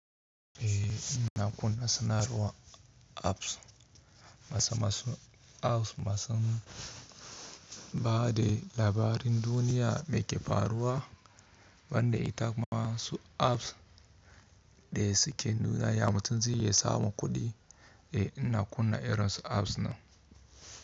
Eh ina kunna sanarwar apps masa-masu apps masan ba de labarin duniya mai ke faruwa, ban da ita masu apps dai suke nuna ya mutum zai iya samun kuɗi, eh ina kunna irin su apps nan.